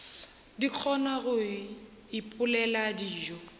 di kgona go ipopela dijo